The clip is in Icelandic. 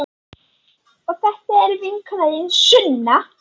Og þetta er vinkona þín, Sunna!